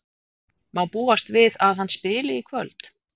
Má búast við að hann spili í kvöld?